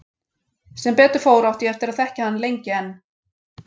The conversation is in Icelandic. Sem betur fór átti ég eftir að þekkja hann lengi enn.